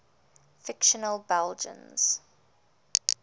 fictional belgians